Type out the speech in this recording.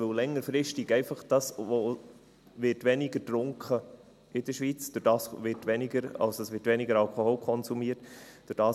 – Weil längerfristig einfach weniger getrunken wird in der Schweiz, also weniger Alkohol konsumiert wird;